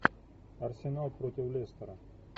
арсенал против лестера